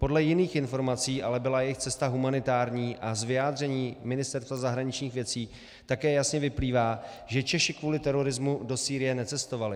Podle jiných informací ale byla jejich cesta humanitární a z vyjádření Ministerstva zahraničních věcí také jasně vyplývá, že Češi kvůli terorismu do Sýrie necestovali.